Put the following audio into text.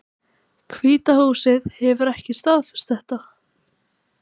Hvíta húsið hefur ekki staðfest þetta